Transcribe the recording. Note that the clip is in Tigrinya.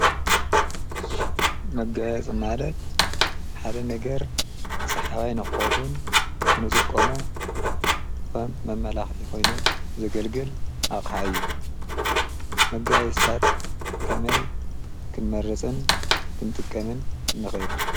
መጋይ ጽናለት ሓደ ነገር ሰሓባይ ነኾውን እንጽቆሙ ኸም መመላኽ ይኾይኑ ዘገልግል ኣቕሓዩ መጋይ ስታት ከመይ ክንመርጽን ክንጥቀምን ንኸል።